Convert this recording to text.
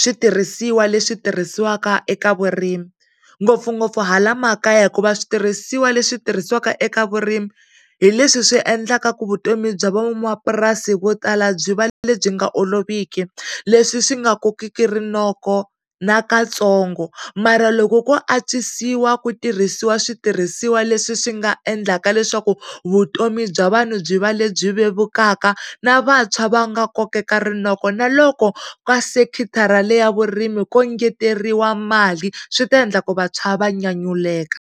switirhisiwa leswi tirhisiwaka eka vurimi ngopfungopfu hala makaya hikuva switirhisiwa leswi tirhisiwaka eka vurimi hi leswi swi endlaka ku vutomi bya van'wamapurasini vo tala byi va le byi nga oloviki leswi swi nga kokeki rinoko na ka tsongo ma ra loko ko antswisiwa ku tirhisiwa switirhisiwa leswi swi nga endlaka leswaku vutomi bya vanhu byi va lebyi vevukaka na vantshwa va nga kokeka rinoko na loko ka sekitharateni le ya vurimi ko ngeteleriwa mali swi ta endlaku vantshwa va nyanyuleka.